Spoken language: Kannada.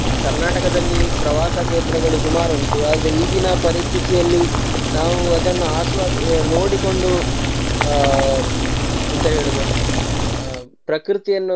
Karnataka ದಲ್ಲಿ ಪ್ರವಾಸ ಕೇಂದ್ರಗಳು ಸುಮಾರುಂಟು ಆದ್ರೆ ಈಗಿನ ಪರಿಸ್ಥಿತಿಯಲ್ಲಿ ನಾವು ಅದನ್ನ ಆಸ್ವ~ ನೋಡಿಕೊಂಡು ಆ ಎಂತ ಹೇಳುದು ಆ ಪ್ರಕೃತಿಯನ್ನು.